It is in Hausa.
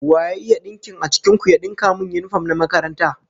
Wa ya iya dinkin a cikin ku ya dinka min yinifom na makaranta?